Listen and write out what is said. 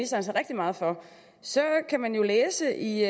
sig rigtig meget for så kan man jo læse i